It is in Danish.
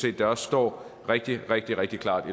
at det også står rigtig rigtig rigtig klart